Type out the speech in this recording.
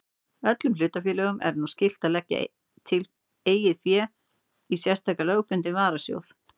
Öllum hlutafélögum er nú skylt að leggja tiltekið fé í sérstakan lögbundinn varasjóð.